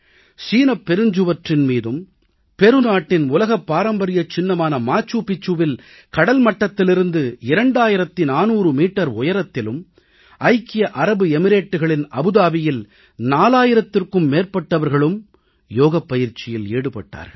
சீனப்பெருஞ்சுவற்றின் மீதும் பெரு நாட்டின் உலக பாரம்பரியச் சின்னமான மாச்சூ பிச்சூவில் கடல்மட்டத்திலிருந்து 2400 மீட்டர் உயரத்திலும் ஐக்கிய அரபு எமிரேட்டுகளின் அபுதாபியில் 4000த்திற்கும் மேற்பட்டவர்களும் யோகப்பயிற்ச்சியில் ஈடுபட்டார்கள்